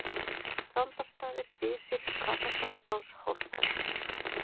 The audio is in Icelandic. Þrándarstaðir, Dysir, Hvatastaðabás, Hofsstaðir